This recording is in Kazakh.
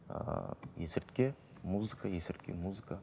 ыыы есірткі музыка есірткі музыка